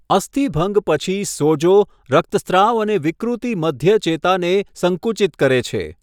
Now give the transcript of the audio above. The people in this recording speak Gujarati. અસ્થિભંગ પછી, સોજો, રક્તસ્રાવ અને વિકૃતિ મધ્ય ચેતાને સંકુચિત કરે છે.